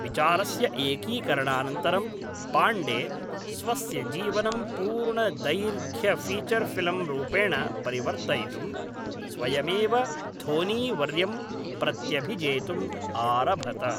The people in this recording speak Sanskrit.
विचारस्य एकीकरणानन्तरं, पाण्डे, स्वस्य जीवनं पूर्णदैर्घ्यफ़ीचर् फ़िल्म् रूपेण परिवर्तयितुं, स्वयमेव धोनी वर्यं प्रत्यभिजेतुम् आरभत।